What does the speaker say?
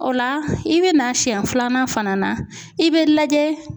O la i bɛ na siyɛn filanan fana na i bɛ lajɛ